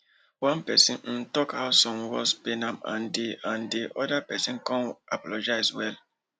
one person um talk how some words pain am and di and di other person come apologize well